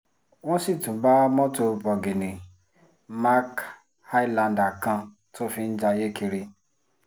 wọ́n sì tún bá mọ́tò bọ̀gìnnì mark highlander kan tó fi ń jayé kiri